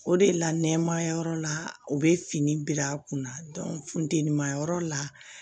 O de la nɛɛmaya yɔrɔ la u bɛ fini bila a kunna funtenima yɔrɔ la